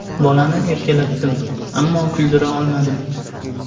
Bolani erkalatdim, ammo kuldira olmadim.